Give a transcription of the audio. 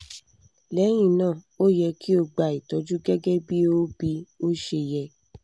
lẹ́yìn náà o yẹ kí o gba ìtọ́jú gẹ́gẹ́ bí ó bí ó ṣe yẹ